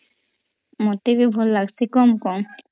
ମତେ ବି ଭଲ ଲାଗୁଚି କମ୍ କମ୍